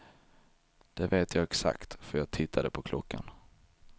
Det vet jag exakt för jag tittade på klockan.